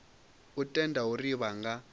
u tenda uri vha nga